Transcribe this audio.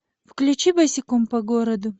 включи босиком по городу